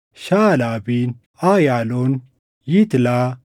Shaʼalabiin, Ayaaloon, Yitlaa,